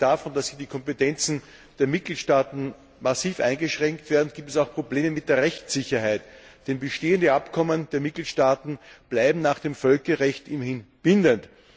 Abgesehen davon, dass hier die Kompetenzen der Mitgliedstaaten massiv eingeschränkt werden, gibt es auch Probleme mit der Rechtssicherheit, denn bestehende Abkommen der Mitgliedstaaten bleiben nach dem Völkerrecht immerhin bindend.